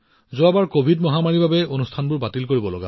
covid মহামাৰীৰ বাবে যোৱাবাৰৰ ক্ৰীড়াবোৰ বাতিল কৰিবলগীয়া হৈছিল